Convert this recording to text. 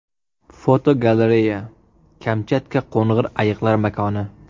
Fotogalereya: Kamchatka qo‘ng‘ir ayiqlar makoni.